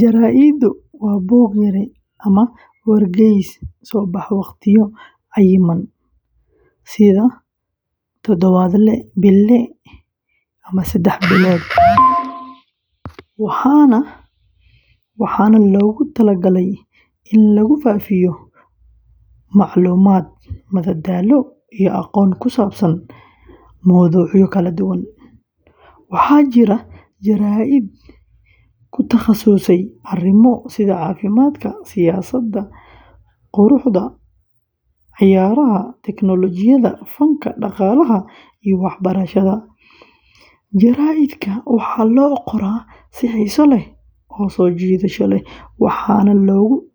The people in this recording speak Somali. Jaraa’idku waa buug-yare ama wargeys soo baxa waqtiyo cayiman sida todobaadle, bille, ama saddex biloodle, waxaana loogu talagalay in lagu faafiyo macluumaad, madadaalo, iyo aqoon ku saabsan mowduucyo kala duwan. Waxaa jira jaraa’id ku takhasusay arrimo sida caafimaadka, siyaasadda, quruxda, ciyaaraha, teknoolojiyadda, fanka, dhaqaalaha, iyo waxbarashada. Jaraa’idka waxaa loo qoraa si xiiso leh oo soo jiidasho leh, waxaana lagu